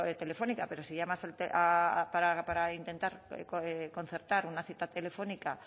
telefónica pero si llamas para intentar concertar una cita telefónica